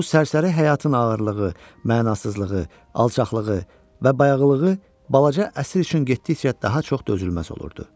Bu sərsəri həyatın ağırlığı, mənasızlığı, alçaqlığı və bayağılığı balaca əsir üçün getdikcə daha çox dözülməz olurdu.